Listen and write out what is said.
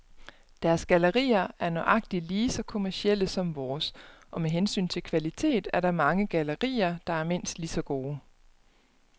Deres gallerier er nøjagtigt lige så kommercielle som vores, og med hensyn til kvalitet er der mange gallerier, der er mindst lige så gode.